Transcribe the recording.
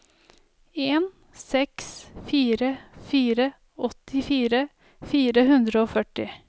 en seks fire fire åttifire fire hundre og førti